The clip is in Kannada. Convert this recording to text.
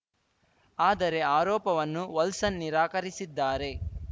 ಆದರೆ ಆರೋಪವನ್ನು ವಲ್ಸನ್‌ ನಿರಾಕರಿಸಿದ್ದಾರೆ